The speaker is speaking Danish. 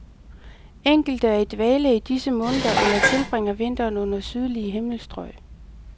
Enkelte er i dvale i disse måneder eller tilbringer vinteren under sydlige himmelstrøg.